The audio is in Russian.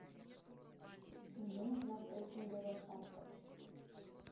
мне нужна треккинговая палка